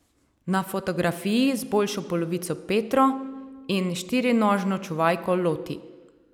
Na fotografiji z boljšo polovico Petro in štirinožno čuvajko Loti.